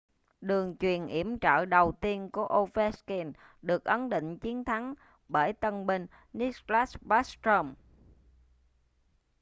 đường chuyền yểm trợ đầu tiên của ovechkin được ấn định chiến thắng bởi tân binh nicklas backstrom